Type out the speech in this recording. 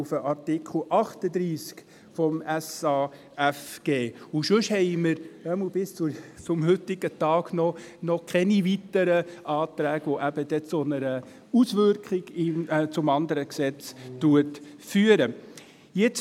Ansonsten gibt es, jedenfalls bis zum heutigen Tag, noch keine weiteren Anträge, welche zu einer Auswirkung auf das andere Gesetz führen könnten.